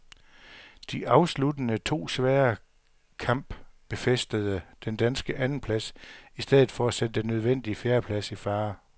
De afsluttende to svære kamp befæstede den danske andenplads i stedet for at sætte den nødvendige fjerdeplads i fare.